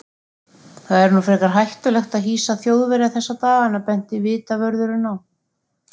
Það er nú frekar hættulegt að hýsa Þjóðverja þessa dagana benti vitavörðurinn á.